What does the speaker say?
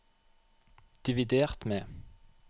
dividert med